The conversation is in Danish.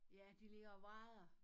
Ja de ligger og vrader